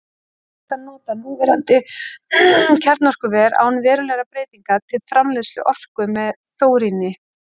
Ekki er hægt að nota núverandi kjarnorkuver, án verulegra breytinga, til framleiðslu orku með þóríni.